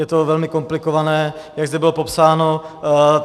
Je to velmi komplikované, jak zde bylo popsáno.